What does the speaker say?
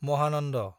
Mahanand